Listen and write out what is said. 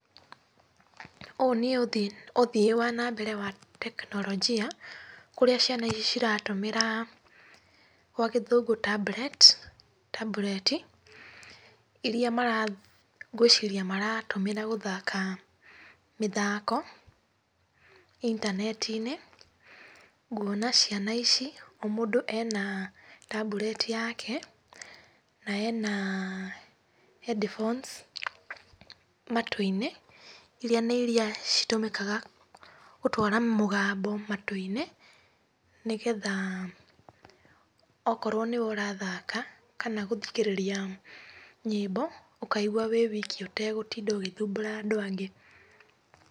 Ũũ nĩ ũthii wa na mbere wa tekinoronjia kũrĩa ciana ici iratũmĩra gwa gĩthũngũ tablets tambureti iria ngwĩciria maratũmĩra gũthaka mĩthako intaneti-inĩ. Nguona ciana ici o mũndũ ena tambureti yake na ena headphones matũ-inĩ iria nĩ iria citũmĩkaga gũtwara mũgambo matũ-inĩ nĩgetha okorwo nĩwe ũrathaka kana gũthikĩrĩria nyĩmbo ũkaigua wĩ wiki ũtagũtinda ũgĩthumbũra andũ angĩ.